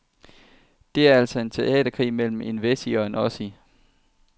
Det er altså en teaterkrig mellem en wessie og en ossie.